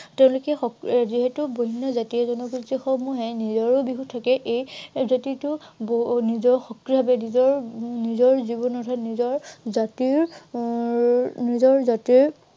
তেওঁলোকে এৰ যিহেতু বিভিন্ন জাতি জনগোষ্ঠী সমূহে নিজৰো বিহু থাকে, এই জাতিটো নিজৰ সক্ৰিয় ভাৱে নিজৰ উম নিজৰ জাতিৰ এৰ নিজৰ জাতিৰ